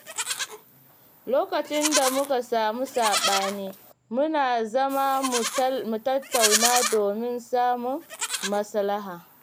Lokacin da muka samu saɓani, muna zama mu tattauna domin samun maslaha.